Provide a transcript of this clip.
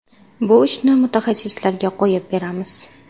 Bu ishni mutaxassislarga qo‘yib beramiz.